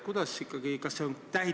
Kuidas neid teavitatakse?